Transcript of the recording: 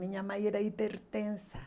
Minha mãe era hipertensa.